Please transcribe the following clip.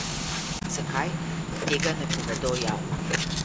Zakaj, tega ne povedo javno.